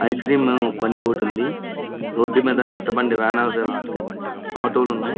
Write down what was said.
Ice cream బండి ఒకటుంది. రోడ్డు మీద చేత బండి వాన్ ఒకటి వెళ్తుంది. ఆటో లు ఉన్నాయి.